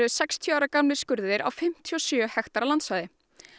sextíu ára gamlir skurðir á fimmtíu og sjö hektara landsvæði